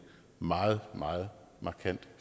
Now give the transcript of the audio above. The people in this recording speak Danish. meget meget markant